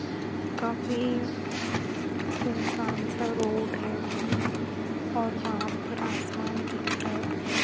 काफी सुनसान सा रोड है ओर वहां पर आसमान दिख रहा है पुरा।